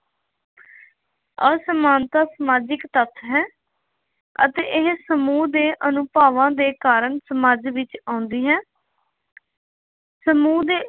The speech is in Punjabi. ਅਸਮਾਨਤਾ ਸਮਾਜਿਕ ਤੱਥ ਹੈ ਅਤੇ ਇਹ ਸਮੂਹ ਦੇ ਅਨੁਭਵਾਂ ਦੇ ਕਾਰਨ ਸਮਾਜ ਵਿੱਚ ਆਉਂਦੀ ਹੈ। ਸਮੂਹ ਦੇ